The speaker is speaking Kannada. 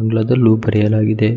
ಆಂಗ್ಲಾದಲ್ಲೂ ಬರೆಯಲಾಗಿದೆ.